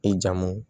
I jamu